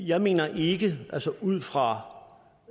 jeg mener ikke altså ud fra